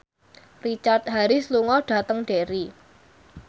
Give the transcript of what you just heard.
Richard Harris lunga dhateng Derry